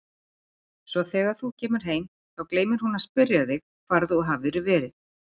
Svo þegar þú kemur heim, þá gleymir hún að spyrja þig hvar þú hafir verið.